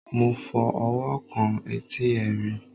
mo fi ọwọ́ kan etí ẹrin